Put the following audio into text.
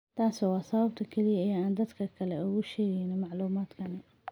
Taasi waa sababta kaliya ee aan dadka kale ugu sheegayno macluumaadkan."